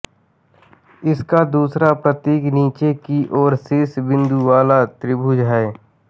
इसका दूसरा प्रतीक नीचे की ओर शीर्ष बिन्दु वाला त्रिभुज है